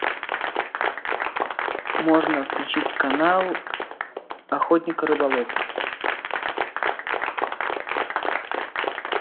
можно включить канал охотник и рыболов